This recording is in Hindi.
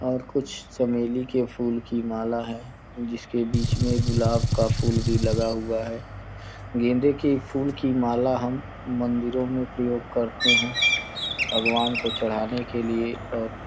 और कुछ चमेली के फूल की माला है जिसके बीच में गुलाब का फूल भी लगा हुआ है गेंदे के फूल की माला हम मंदिरों में प्रयोग करते हैं भगवान को चढ़ाने के लिए और --